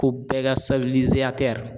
Ko bɛɛ ka